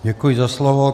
Děkuji za slovo.